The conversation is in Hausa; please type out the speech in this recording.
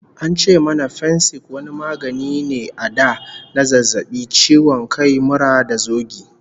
An ce mana Fensik wani magani ne a da na zazzabi, ciwo kai, mura da zogi.